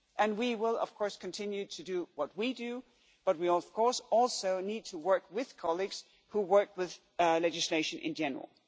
We will of course continue to do what we do, but we also need to work with colleagues who work with legislation in general.